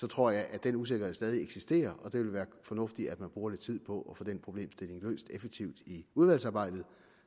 tror jeg at den usikkerhed stadig eksisterer og det vil være fornuftigt at man bruger lidt tid på at få den problemstilling løst effektivt i udvalgsarbejdet